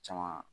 Caman